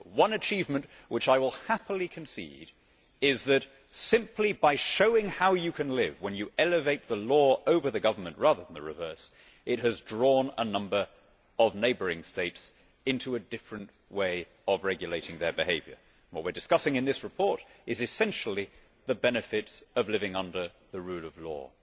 One achievement which I will happily concede is that simply showing how you can live when you elevate the law over the government, rather than the reverse, has drawn a number of neighbouring states into a different way of regulating their behaviour. What we are discussing in this report is essentially the benefits of living under the rule of law.